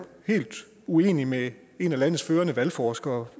helt uenig med en af landets førende valgforskere